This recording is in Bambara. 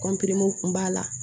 kun b'a la